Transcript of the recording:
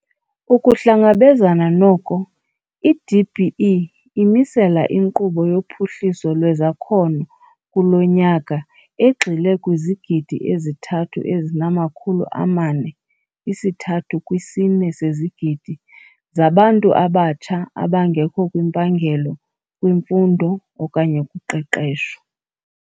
Ukuhlangabezana noko, i-DBE imisela inkqubo yophuhliso lwezakhono kulo nyaka egxile kwizigidi ezithathu ezinamakhulu amane, isi-3.4 sezigidi, zabantu abatsha abangekho kwimpangelo, kwimfundo okanye kuqeqesho.